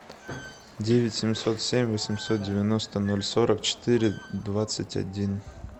девять семьсот семь восемьсот девяносто ноль сорок четыре двадцать один